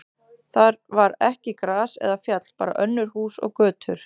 Þar var ekki gras eða fjall, bara önnur hús og götur.